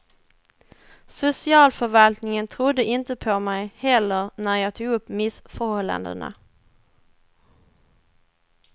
Socialförvaltningen trodde inte på mig heller när jag tog upp missförhållandena.